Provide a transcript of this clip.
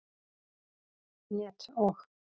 net og.